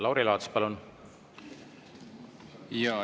Lauri Laats, palun!